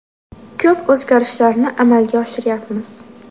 Ko‘p o‘zgarishlarni amalga oshiryapmiz.